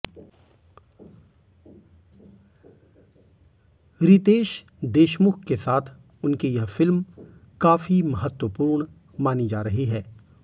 रितेश देशमुख के साथ उनकी यह फिल्म काफी महत्वपूर्ण मानी जा रही है